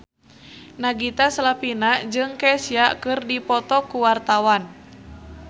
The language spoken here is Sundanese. Nagita Slavina jeung Kesha keur dipoto ku wartawan